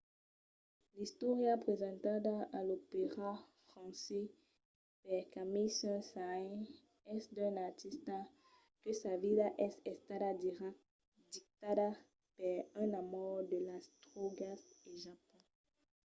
l'istòria presentada a l'opèra francés per camille saint-saëns es d'un artista que sa vida es estada dictada per un amor de las drògas e japon.